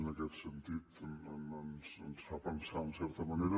i en aquest sentit ens fa pensar en certa manera